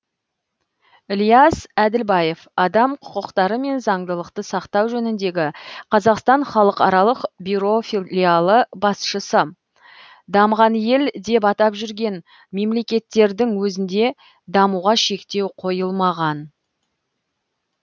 ілияс әділбаев адам құқықтары мен заңдылықты сақтау жөніндегі қазақстан халықаралық бюро филиалы басшысы дамыған ел деп атап жүрген мемлекеттердің өзінде дамуға шектеу қойылмаған